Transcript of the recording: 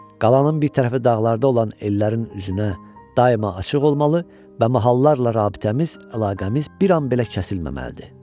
Qalanın bir tərəfi dağlarda olan ellərin üzünə daima açıq olmalı və mahallarla rabitəmiz, əlaqəmiz bir an belə kəsilməməlidir.